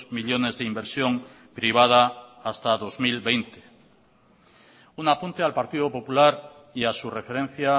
millónes de inversión privada hasta dos mil veinte un apunte al partido popular y a su referencia